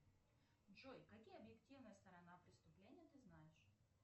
джой какие объективные сторона преступления ты знаешь